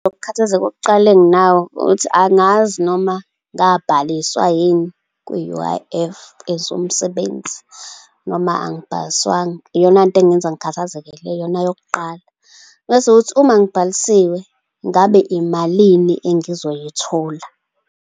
Ukukhathazeka okokuqala enginako ukuthi angazi noma ngiyabhaliswa yini kwi-U_I_F as umsebenzi noma angimbhaliswanga. Iyona nto engenza ngikhathaze leyo. Iyona yokuqala. Mese kuthi uma ngibhalisiwe, ngabe imalini engizoyithola.